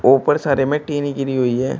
ऊपर सारे में टीनें गिरी हुई है।